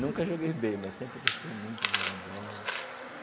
Nunca joguei bem, mas sempre gostei muito de jogar bola.